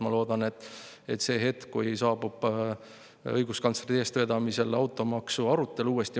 Ma loodan, et see hetk, kui saabub õiguskantsleri eestvedamisel automaksu arutelu uuesti …